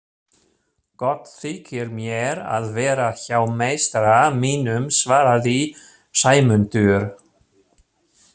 Gott þykir mér að vera hjá meistara mínum svaraði Sæmundur.